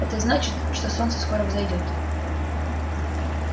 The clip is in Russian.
это значит что солнце скоро взойдёт